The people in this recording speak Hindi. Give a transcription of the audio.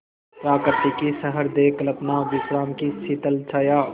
प्रकृति की सहृदय कल्पना विश्राम की शीतल छाया